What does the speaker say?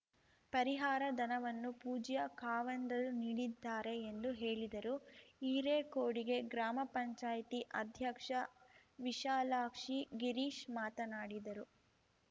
ಪರಿಹಾರ ಧನವನ್ನು ಪೂಜ್ಯ ಖಾವಂದರು ನೀಡಿದ್ದಾರೆ ಎಂದು ಹೇಳಿದರು ಹಿರೇಕೊಡಿಗೆ ಗ್ರಾಮ ಪಂಚಾಯ್ತಿ ಅಧ್ಯಕ್ಷ ವಿಶಾಲಾಕ್ಷಿ ಗಿರೀಶ್‌ ಮಾತನಾಡಿದರು